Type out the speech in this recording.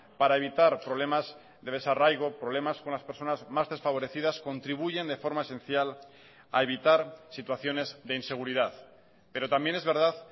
para evitar problemas de desarraigo problemas con las personas más desfavorecidas contribuyen de forma esencial a evitar situaciones de inseguridad pero también es verdad